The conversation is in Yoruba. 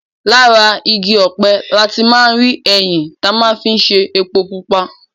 Láti ara igi ọ̀pẹ̀ láti máa rí ẹyìn ta máa fi ṣe epo pupa.